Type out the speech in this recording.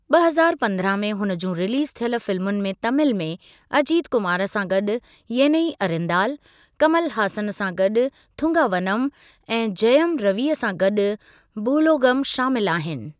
ॿ हज़ारु पंद्रहां में हुन जूं रिलीज़ थियल फिल्मुनि में तामिल में अजीत कुमार सां गॾु येनई अरिन्दाल, कमल हासन सां गॾु थूंगावनम ऐं जयम रवि सां गॾु बूलोगम शामिलु आहिनि।